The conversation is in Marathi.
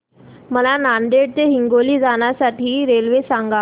मला नांदेड ते हिंगोली जाण्या साठी रेल्वे सांगा